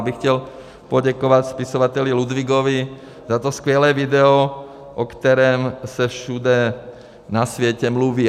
Já bych chtěl poděkovat spisovateli Ludwigovi za to skvělé video, o kterém se všude na světě mluví.